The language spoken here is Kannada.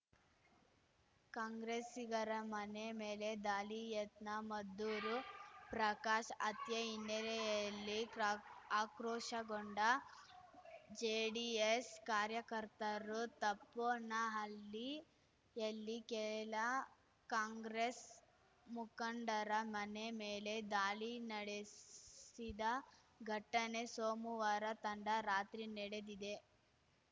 ಕಾಂಗ್ರೆಸ್ಸಿಗರ ಮನೆ ಮೇಳೆ ದಾಳಿ ಯತ್ನ ಮದ್ದೂರು ಪ್ರಕಾಶ್‌ ಹತ್ಯೆ ಹಿನ್ನೆಲೆಯಲ್ಲಿ ಕ್ರಾ ಆಕ್ರೋಶಗೊಂಡ ಜೆಡಿಎಸ್‌ ಕಾರ್ಯಕರ್ತರು ತಪ್ಪೋನಹಳ್ಳಿಯಲ್ಲಿ ಕೆಲ ಕಾಂಗ್ರೆಸ್‌ ಮುಖಂಡರ ಮನೆ ಮೇಲೆ ದಾಳಿ ನಡೆಸಿದ ಘಟನೆ ಸೋಮುವಾರ ತಂಡ ರಾತ್ರಿ ನಡೆದಿದೆ